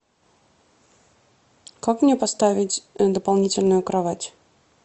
как мне поставить дополнительную кровать